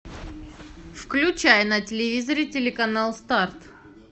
включай на телевизоре телеканал старт